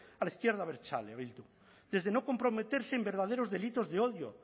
a la izquierda abertzale bildu desde no comprometerse en verdaderos delitos de odio